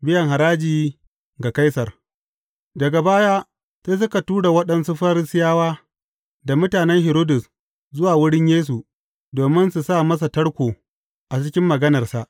Biyan haraji ga Kaisar Daga baya, sai suka tura waɗansu Farisiyawa da mutanen Hiridus zuwa wurin Yesu, domin su sa masa tarko a cikin maganarsa.